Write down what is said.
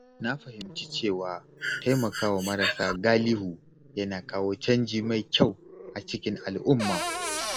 Na fahimci cewa taimakawa marasa galihu yana kawo canji mai kyau a cikin al’umma.